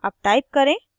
अब type करें